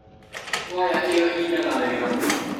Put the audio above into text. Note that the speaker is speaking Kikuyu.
Kwaya ĩyo ĩinaga wega mũno.